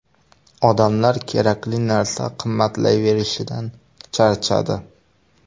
Odamlar kerakli narsa qimmatlayverishidan charchadi.